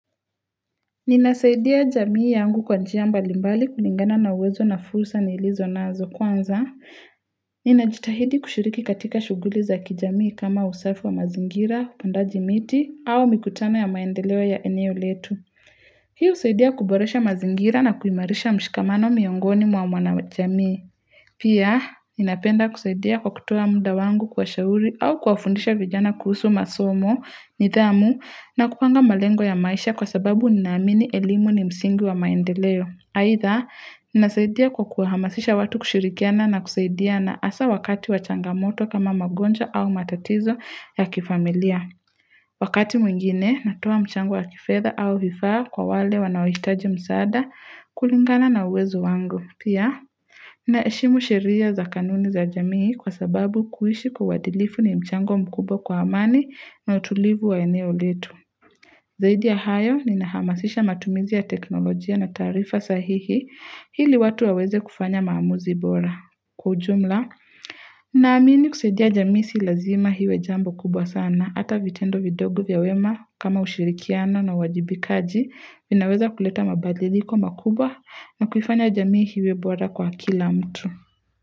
Ninasaidia jamii yangu kwa njia mbalimbali kulingana na uwezo na fursa nilizo na azokwanza. Ninajitahidi kushiriki katika shughuli za kijamii kama usafi wa mazingira, upandaji miti au mikutano ya maendeleo ya eneo letu. Hii husaidia kuboresha mazingira na kuimarisha mshikamano miongoni mwa wana wa jamii. Pia, ninapenda kusaidia kwa kutoa muda wangu kuwashauri au kuwafundisha vijana kuhusu masomo, nidhamu, na kupanga malengo ya maisha kwa sababu ninaamini elimu ni msingi wa maendeleo. Haidha, ninasaidia kwa kuahamasisha watu kushirikiana na kusaidiana hasa wakati wachangamoto kama magonjwa au matatizo ya kifamilia. Wakati mwingine, natoa mchango wa kifedha au vifaa kwa wale wanaohitaji msaada kulingana na uwezo wangu. Pia, ninaheshimu sheria za kanuni za jamii kwa sababu kuishi kwa uadilifu ni mchango mkubwa kwa amani na utulivu wa eneo letu. Zaidi ya hayo, nina hamasisha matumizi ya teknolojia na taarifa sahihi hili watu waweze kufanya maamuzi bora. Kwa ujumla, naamini kusaidia jamii si lazima iwe jambo kubwa sana. Na hata vitendo vidogu vya wema kama ushirikiano na uwajibikaji vinaweza kuleta mabadiliko makubwa na kufanya jamii iwe boara kwa kila mtu.